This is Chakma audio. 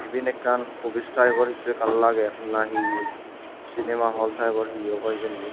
iben ekkan opis taipor hissu ekkan lager na hi sinema hol taipor hi awbo hijeni.